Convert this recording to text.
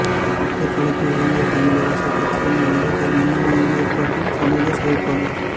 மட்டக்களப்பு இலங்கை தமிழரசு கட்சியின் வாலிபர் முன்னணியின் ஏற்பாட்டில் சமூக செயற்பாட்டு